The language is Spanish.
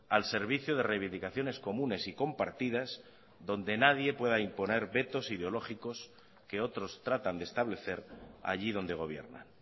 al servicio de reivindicaciones comunes y compartidas donde nadie pueda imponer vetos ideológicos que otros tratan de establecer allí donde gobiernan